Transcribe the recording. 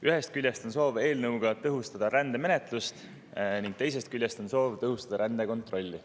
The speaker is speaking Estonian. Ühest küljest on soov eelnõuga tõhustada rändemenetlust ning teisest küljest on soov tõhustada rändekontrolli.